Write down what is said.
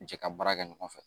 Jɛ ka baara kɛ ɲɔgɔn fɛ